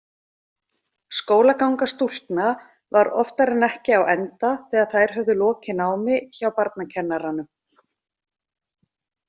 Skólaganga stúlkna var oftar en ekki á enda þegar þær höfðu lokið námi hjá barnakennaranum.